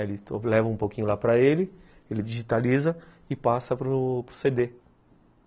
Eu levo um pouquinho para ele, ele digitaliza e passa para o cê dê.